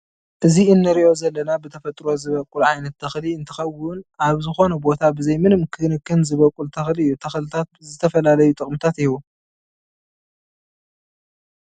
እዚ እንሪኦ ዘለና ብተፈጥሮ ዝበቁል ዓይነት ተክሊ እንትከውን ኣብ ዝኮነ ቦታ ብዘይ ምንም ክንክን ዝበቁል ተክሊ እዩ። ተክሊታት ዝተፈላለዩ ጠቅምታት ይህቡ።